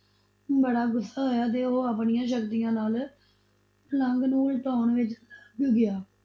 ਬੜਾ ਗੁਸਾ ਆਇਆ ਤੇ ਉਹ ਆਪਣੀਆਂ ਸ਼ਕਤੀਆਂ ਨਾਲ ਪਲੰਗ ਨੂੰ ਉਲਟਾਓਣ ਵਿਚ ਲੱਗ ਗਿਆ।